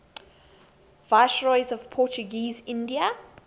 viceroys of portuguese india